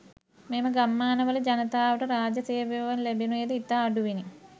මෙම ගම්මාන වල ජනතාවට රාජ්‍ය සේවාවන් ලැබුනේද ඉතා අඩුවෙනි.